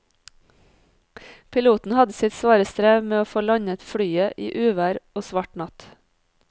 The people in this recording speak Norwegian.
Piloten hadde sitt svare strev med å få landet flyet i uvær og svart natt.